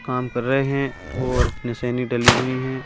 काम कर रहे हैं और मशीने डली हुई है।